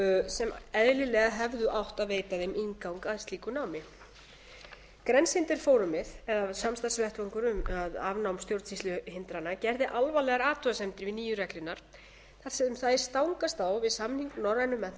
sem eðlilega hefðu átt að veita þeim inngang að slíku námi grænsehindringsforumið eða samstarfsvettvangurinn um afnám stjórnsýsluhindrana gerði alvarlegar athugasemdir við nýju reglurnar þar sem þær stangast á við samning norrænu menntamálaráðherranna um aðgang